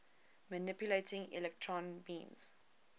manipulating electron beams